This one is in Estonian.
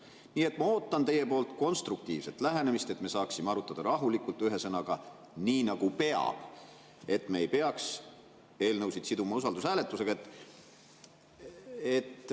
Nii et ma ootan teie poolt konstruktiivset lähenemist, et me saaksime arutada rahulikult, ühesõnaga, nii nagu peab, et me ei peaks siduma usaldushääletusega.